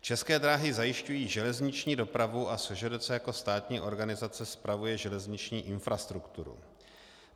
České dráhy zajišťují železniční dopravu a SŽDC jako státní organizace spravuje železniční infrastrukturu.